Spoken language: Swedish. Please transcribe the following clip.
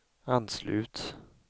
anslut